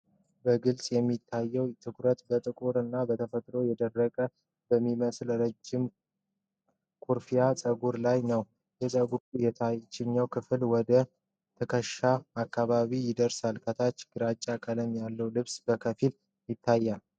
በግልጽ የሚታየው ትኩረት በጥቁር እና በተፈጥሮ የደረቀ በሚመስል ረጅም ኩርፊያ ፀጉር ላይ ነው። የፀጉሩ የታችኛው ክፍል ወደ ትከሻው አካባቢ ይደርሳል፤ ከታች ግራጫ ቀለም ያለው ልብስ በከፊል ይታያል።